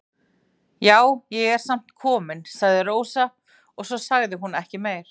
Já, ég er sem sagt komin, sagði Rósa og svo sagði hún ekki meira.